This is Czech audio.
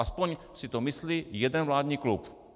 Aspoň si to myslí jeden vládní klub.